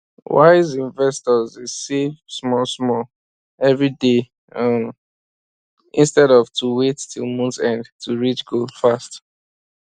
wise um investors dey save small small every day um instead of wait till month end to reach goal fast